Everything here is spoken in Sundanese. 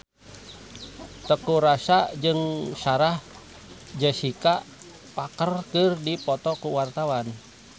Teuku Rassya jeung Sarah Jessica Parker keur dipoto ku wartawan